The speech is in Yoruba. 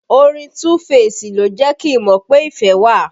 Orin Tuu feesi ló jẹ́ kí n mọ pé ìfẹ́ wà